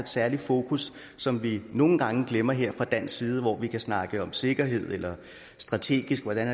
særligt fokus som vi nogle gange glemmer her fra dansk side hvor vi kan snakke om sikkerhed eller strategi hvordan